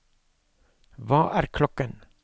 hva er klokken